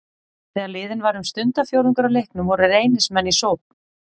Þegar liðinn var um stundarfjórðungur af leiknum voru Reynismenn í sókn.